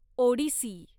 Odissi